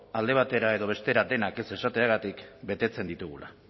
alde batera edo bestera denak ez esateagatik betetzen ditugula